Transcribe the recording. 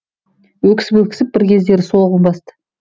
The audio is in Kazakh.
өксіп өксіп бір кездері солығын басты